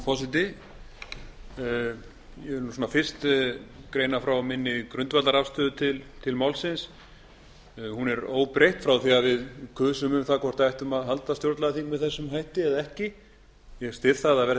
forseti ég vil fyrst greina frá minni grundvallarafstöðu til málsins hún er óbreytt frá því að við kusum um það hvort við ættum að halda stjórnlagaþing með þessum hætti eða ekki ég styð það að haldið